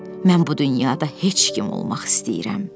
Mən bu dünyada heç kim olmaq istəyirəm.